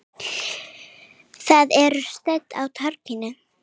Þau eru stödd á torgi.